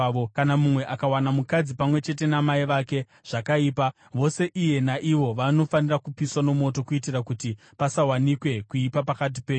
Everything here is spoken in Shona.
“ ‘Kana mumwe akawana mukadzi pamwe chete namai vake, zvakaipa. Vose iye naivo vanofanira kupiswa mumoto kuitira kuti pasawanikwe kuipa pakati penyu.